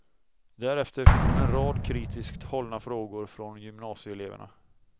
Därefter fick hon en rad kritiskt hållna frågor från gymnasieeleverna.